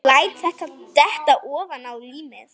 Læt þær detta ofaná límið.